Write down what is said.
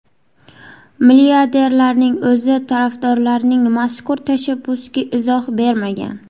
Milliarderning o‘zi tarafdorlarining mazkur tashabbusiga izoh bermagan.